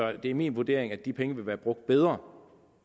at det er min vurdering at de penge vil være brugt bedre